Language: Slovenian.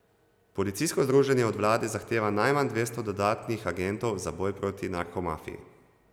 Policijsko združenje od vlade zahteva najmanj dvesto dodatnih agentov za boj proti narkomafiji.